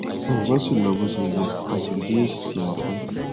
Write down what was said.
nkan si lo bo se ye a si ri esi ti a fe